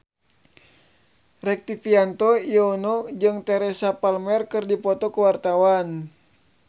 Rektivianto Yoewono jeung Teresa Palmer keur dipoto ku wartawan